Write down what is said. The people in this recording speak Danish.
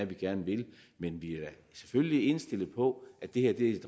gerne vil men vi er selvfølgelig indstillet på at det her er et